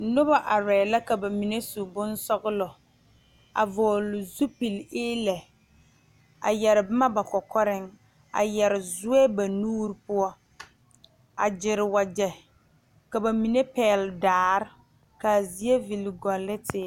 Noba are la ka ba mine su bonsɔglɔ, a vɔgeli zupile eelɛ a yɛre boma ba kɔkɔreŋ a yɛre zoɛ ba nuur poɔ a gyɛre wagyɛ ka ba mine pɛgeli daare kaa zie vile gɔle ne teere.